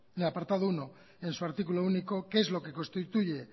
el apartado uno en su artículo único que es lo que constituye